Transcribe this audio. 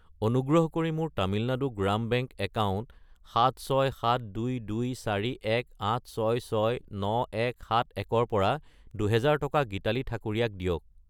অনুগ্ৰহ কৰি মোৰ তামিলনাডু গ্ৰাম বেংক একাউণ্ট 76722418669171 ৰ পৰা 2000 টকা গীতালি ঠাকুৰীয়া ক দিয়ক।